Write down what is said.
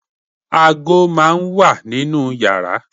aago máà ń wà ninú yàrá